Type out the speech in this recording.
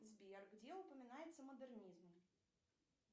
сбер где упоминается модернизм